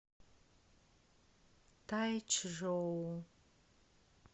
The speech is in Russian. тайчжоу